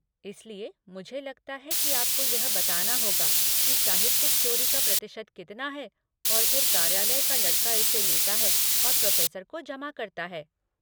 इसलिए, मुझे लगता है कि आपको यह बताना होगा कि साहित्यिक चोरी का प्रतिशत कितना है और फिर कार्यालय का लड़का इसे लेता है और प्रोफ़ेसर को जमा करता है।